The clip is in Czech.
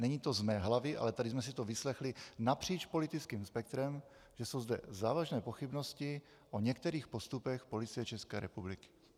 Není to z mé hlavy, ale tady jsme si to vyslechli napříč politickým spektrem, že jsou zde závažné pochybnosti o některých postupech Policie České republiky.